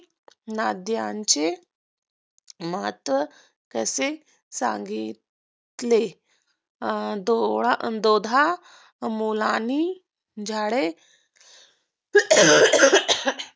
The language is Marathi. नद्यांचे महत्त्व कसे सांगितले आणि दोधा मुलाने झाडे